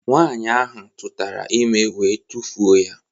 Nwaanyị ahụ tụtara ime wee tufuo ya